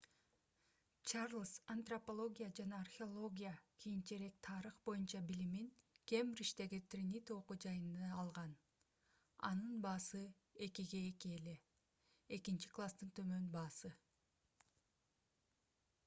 чарльз антропология жана археология кийинчерээк тарых боюнча билимин кембриждеги тринити окуу жайында алган анын баасы 2:2 экинчи класстын төмөн баасы эле